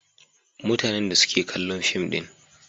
Mutanen da suke kallon fim din.